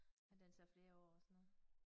Ja den tager flere år og sådan noget